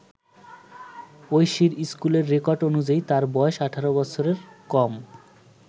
ঐশীর স্কুলের রেকর্ড অনুযায়ী তার বয়স ১৮ বছরের কম।